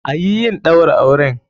Ayi yin Ɗaura auren!